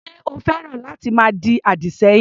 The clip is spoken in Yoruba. Ṣé o féràn láti máa di àdì sẹ́yìn?